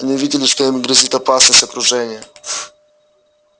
они увидели что им грозит опасность окружения